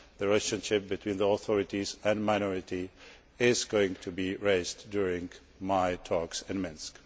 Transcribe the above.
The relationship between the authorities and minorities is going to be raised during my talks in Minsk.